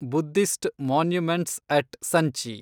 Buddhist monuments at Sanchi